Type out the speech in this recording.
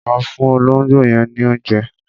Lọ fún olóńgbò yẹn ní oúnjẹ.